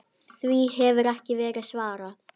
Því hefur ekki verið svarað.